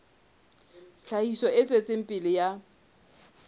tlhahiso e tswetseng pele ya